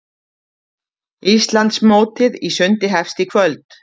Íslandsmótið í sundi hefst í kvöld